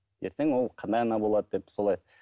ертең ол қандай ана болады деп солай